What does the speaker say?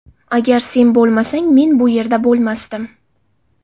Agar sen bo‘lmasang, men bu yerda bo‘lmasdim”.